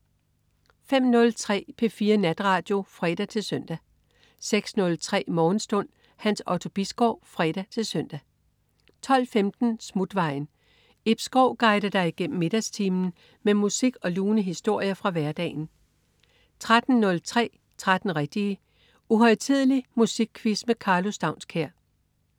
05.03 P4 Natradio (fre-søn) 06.03 Morgenstund. Hans Otto Bisgaard (fre-søn) 12.15 Smutvejen. Ib Schou guider dig igennem middagstimen med musik og lune historier fra hverdagen 13.03 13 rigtige. Uhøjtidelig musikquiz med Karlo Staunskær